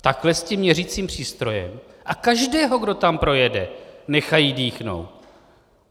Takhle s tím měřicím přístrojem a každého, kdo tam projede, nechají dýchnout.